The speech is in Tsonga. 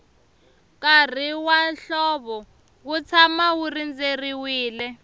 nkarhi wa hlovo wu tshama wu rindzeriwile